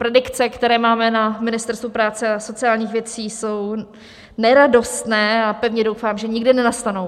Predikce, které máme na Ministerstvu práce a sociálních věcí, jsou neradostné a pevně doufám, že nikdy nenastanou.